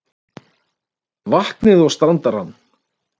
vatnið og standarann.